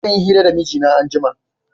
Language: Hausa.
Zan yi hira da mijina anjima